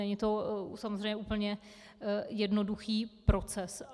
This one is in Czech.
Není to samozřejmě úplně jednoduchý proces.